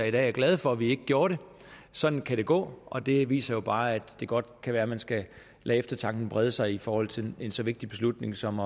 i dag er glade for at vi ikke gjorde det sådan kan det gå og det viser jo bare at det godt kan være man skal lade eftertanken brede sig i forhold til en så vigtig beslutning som